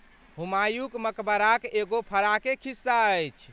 हुमायूँक मकबराक एगो फराके खिस्सा अछि।